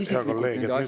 Hea kolleeg!